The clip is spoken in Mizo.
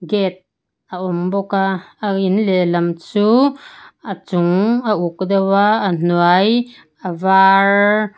a awm bawk a a in lehlam chu a chung a uk deuha a hnuai a var.